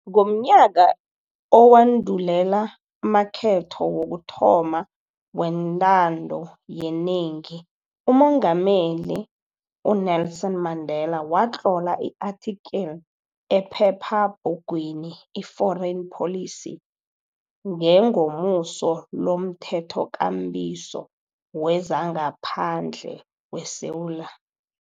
Ngomnyaka owandulela amakhetho wokuthoma wentando yenengi, uMengameli u-Nelson Mandela watlola i-athikili ephephabhugwini i-Foreign Policy ngengomuso lomThethokambiso wezangaPhandle weSewula